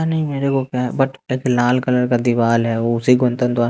नहीं मेरे को क्या बट एक लाल कलर का दिवाल है वो उसी